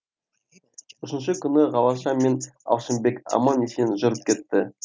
үшінші күні глаша мен алшынбек аман есен жүріп кетті